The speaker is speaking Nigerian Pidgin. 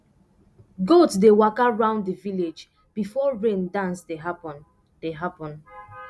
goat dey waka round the village before rain dance dey happen dey happen